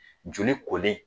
Joli kolen